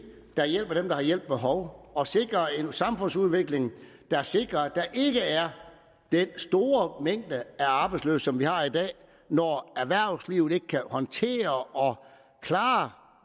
der hjælper dem der har hjælp behov og sikrer en samfundsudvikling der sikrer at der ikke er den store mængde arbejdsløse som vi har i dag når erhvervslivet ikke kan håndtere og klare